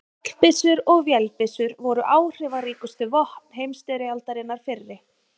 Fallbyssur og vélbyssur voru áhrifaríkustu vopn heimsstyrjaldarinnar fyrri.